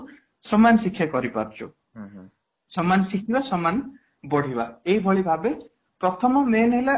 ସମାନ ଶିକ୍ଷା କରିପାରୁଛୁ ସମାନ ଶିଖିବା ସମାନ ବଢିବା ଏହି ଭଳି ଭାବେ ପ୍ରଥମ main ହେଲା